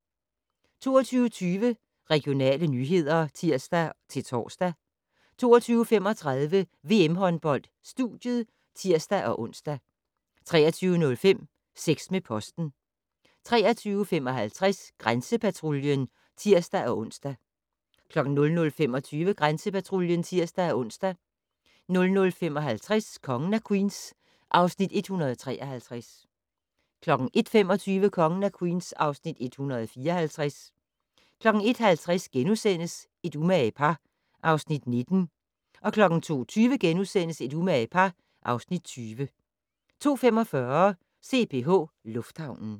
22:20: Regionale nyheder (tir-tor) 22:35: VM-håndbold: Studiet (tir-ons) 23:05: Sex med posten 23:55: Grænsepatruljen (tir-ons) 00:25: Grænsepatruljen (tir-ons) 00:55: Kongen af Queens (Afs. 153) 01:25: Kongen af Queens (Afs. 154) 01:50: Et umage par (Afs. 19)* 02:20: Et umage par (Afs. 20)* 02:45: CPH Lufthavnen